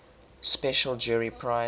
special jury prize